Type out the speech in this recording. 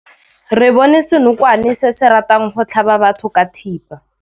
Re bone senokwane se se ratang go tlhaba batho ka thipa.